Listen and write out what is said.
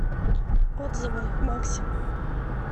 отзывы макси